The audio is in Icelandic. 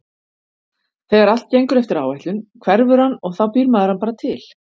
Þegar allt gengur eftir áætlun hverfur hann og þá býr maður hann bara til.